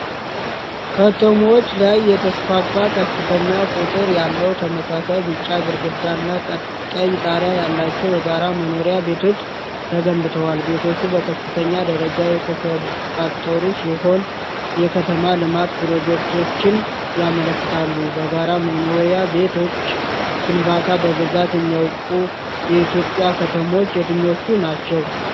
ከተሞች ላይ የተስፋፋ ከፍተኛ ቁጥር ያለው ተመሳሳይ ቢጫ ግድግዳና ቀይ ጣራ ያላቸው የጋራ መኖሪያ ቤቶች ተገንብተዋል። ቤቶቹ በከፍተኛ ደረጃ የተሰባጠሩ ሲሆኑ፣ የከተማ ልማት ፕሮጀክቶችን ያመለክታሉ። በጋራ መኖሪያ ቤቶች ግንባታ በብዛት የሚታወቁ የኢትዮጵያ ከተሞች የትኞቹ ናቸው?